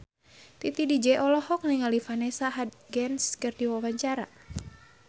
Titi DJ olohok ningali Vanessa Hudgens keur diwawancara